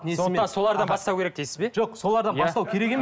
сондықтан солардан бастау керек дейсіз бе жоқ солардан бастау керек